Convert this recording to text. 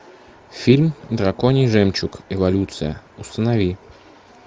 фильм драконий жемчуг эволюция установи